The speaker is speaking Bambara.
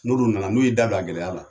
N'olu nana, n'olu y'u da don a gɛlɛya la